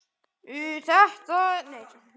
Það er fínt sagði pabbi og stóð upp.